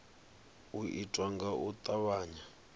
u itwa nga u tavhanya